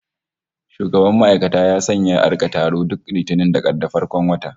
Shugaban ma'aikata ya sanya a rika taro duk Litinin ta farkon wata